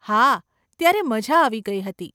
હા, ત્યારે મઝા આવી ગઇ હતી.